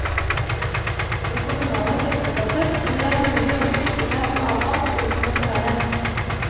Ved kommunale søppelplasser vil det være mulig å kvitte seg med avfall uten å betale.